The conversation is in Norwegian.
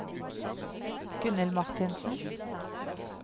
Gunnhild Martinsen